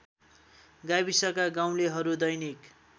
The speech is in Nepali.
गाविसका गाउँलेहरू दैनिक